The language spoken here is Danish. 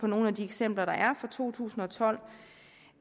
nogle af de eksempler der er for to tusind og tolv